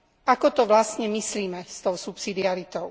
Ako to vlastne myslíme s tou subsidiaritou?